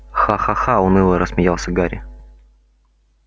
ха-ха-ха уныло рассмеялся гарри